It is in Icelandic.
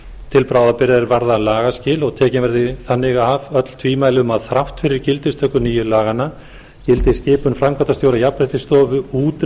til bráðabirgða er varða lagaskil og að tekin verði þannig af öll tvímæli um að þrátt fyrir gildistöku nýju laganna gildi skipun framkvæmdastjóra jafnréttisstofu út